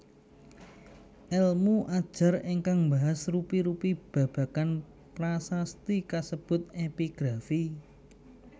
Èlmu ajar ingkang mbahas rupi rupi babagan prasasti kasebut Epigrafi